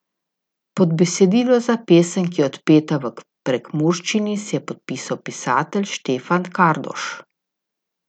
Pod besedilo za pesem, ki je odpeta v prekmurščini, se je podpisal pisatelj Štefan Kardoš.